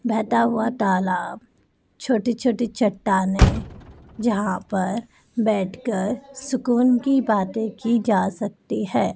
बहता हुआ तालाब छोटी छोटी चट्टानें जहां पर बैठकर सुकून की बातें की जा सकती है।